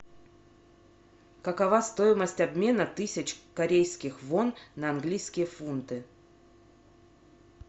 какова стоимость обмена тысяч корейских вон на английские фунты